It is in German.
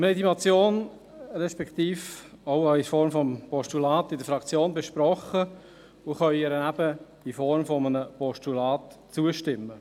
Wir haben diese Motion, respektive auch in Form eines Postulats, in der Fraktion besprochen und können ihr eben in Form eines Postulats zustimmen.